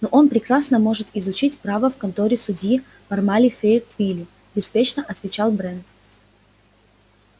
ну он прекрасно может изучить право в конторе судьи пармали в фейетвилле беспечно отвечал брент